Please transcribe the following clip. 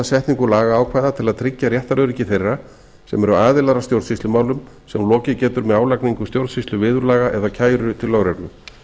setningu lagaákvæða til að tryggja réttaröryggi þeirra sem eru aðilar að stjórnsýslumálum sem lokið getur með álagningu stjórnsýsluviðurlaga eða kæru til lögreglu